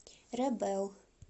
рэбэл